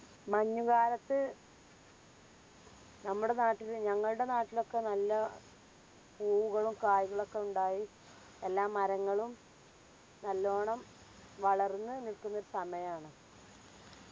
മഞ്ഞുകാലത്ത്‌ നമ്മടെ നാട്ടില് ഞങ്ങൾടെ നാട്ടിലൊക്കെ നല്ല പൂവുകളും കായികളും ഒക്കെ ഇണ്ടായി എല്ലാ മരങ്ങളും നല്ലോണം വളർന്ന് നിക്കുന്നൊരു സമയാണ്